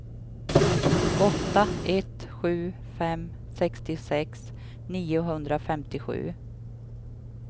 åtta ett sju fem sextiosex niohundrafemtiosju